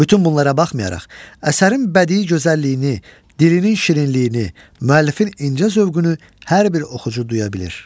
Bütün bunlara baxmayaraq, əsərin bədii gözəlliyini, dilinin şirinliyini, müəllifin incə zövqünü hər bir oxucu duya bilir.